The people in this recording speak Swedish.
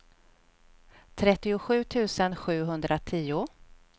trettiosju tusen sjuhundratio